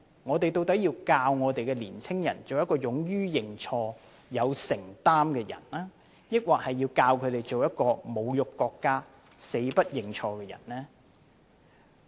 我們究竟要教導年輕人做勇於認錯、有承擔的人，還是要教他們做侮辱國家、死不認錯的人呢？